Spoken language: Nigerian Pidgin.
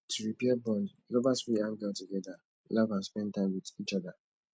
to repair bond lovers fit hang out together laugh and spend time with each oda